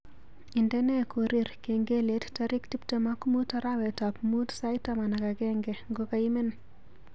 Indene korir kengelet tarik tuptem ak muut arawetab muut sait taman ak agenge ngokaimen